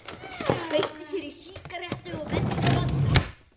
Hann kveikti sér í sígarettu og benti á Badda.